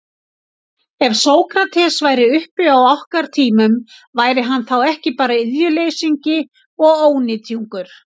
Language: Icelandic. Ef Sókrates væri uppi á okkar tímum, væri hann þá ekki bara iðjuleysingi og ónytjungur?